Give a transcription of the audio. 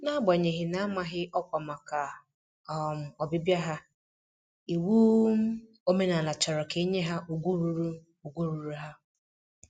N'agbanyeghị na -amaghị ọkwa màkà um ọbịbịa ha, iwu um omenala chọrọ ka enye ha ùgwù ruuru ùgwù ruuru ha.